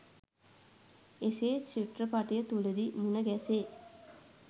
එසේ චිත්‍රපටය තුළදී මුණගැසේ.